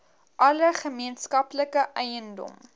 alle gemeenskaplike eiendom